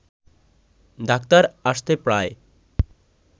doctor আসতে প্রায়